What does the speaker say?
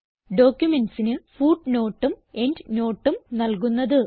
ഡോക്യുമെന്റ്സിന് footnoteഉം endnoteഉം നൽകുന്നത്